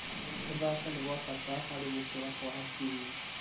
Gũthaka nĩ gwa bata harĩ gũkũra kwa hakiri?